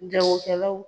Jagokɛlaw